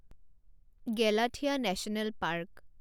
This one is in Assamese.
Galathea National park